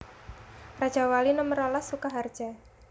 Rajawali Nomer rolas Sukaharja